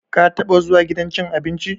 Ka taba zuwa gidan cin abinci?